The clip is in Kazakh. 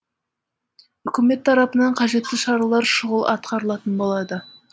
үкімет тарапынан қажетті шаралар шұғыл атқарылатын болады